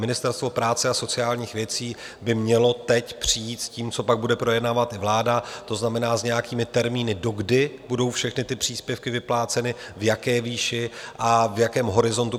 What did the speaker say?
Ministerstvo práce a sociálních věcí by mělo teď přijít s tím, co pak bude projednávat vláda, to znamená s nějakými termíny, do kdy budou všechny ty příspěvky vypláceny, v jaké výši a v jakém horizontu.